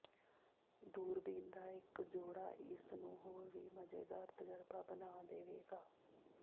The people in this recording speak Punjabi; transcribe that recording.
ਦੂਰਬੀਨ ਦਾ ਇੱਕ ਜੋੜਾ ਇਸ ਨੂੰ ਹੋਰ ਵੀ ਮਜ਼ੇਦਾਰ ਤਜਰਬਾ ਬਣਾ ਦੇਵੇਗਾ